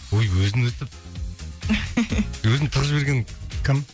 ой өзін өстіп өзін тығып жіберген кім